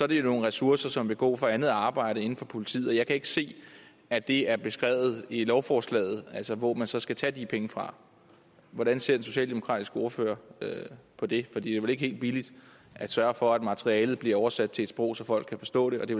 det jo nogle ressourcer som vil gå fra andet arbejde inden for politiet jeg kan ikke se at det er beskrevet i lovforslaget altså hvor man så skal tage de penge fra hvordan ser den socialdemokratiske ordfører på det for det er vel ikke helt billigt at sørge for at materialet bliver oversat til et sprog så folk kan forstå det og det